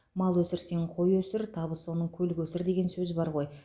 мал өсірсең қой өсір табысы оның көл көсір деген сөз бар ғой